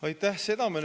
Aitäh!